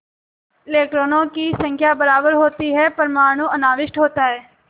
इलेक्ट्रॉनों की संख्या बराबर होती है परमाणु अनाविष्ट होता है